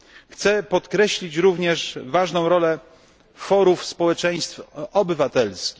Chcę podkreślić również ważną rolę forów społeczeństw obywatelskich.